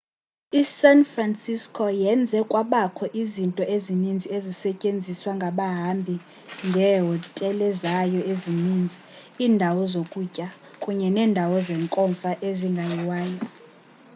i-san francisco yenze kwabakho izinto ezininzi ezisetyenziswa ngabahambi ngieehotelezayo ezininzi iindawo zokutya kunye neendawo zenkomfa ezingayiwayo